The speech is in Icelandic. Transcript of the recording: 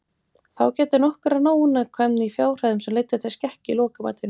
Þá gætti nokkurrar ónákvæmni í fjárhæðum sem leiddu til skekkju í lokamatinu.